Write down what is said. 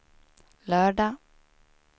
lördag